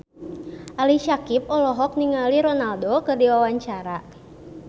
Ali Syakieb olohok ningali Ronaldo keur diwawancara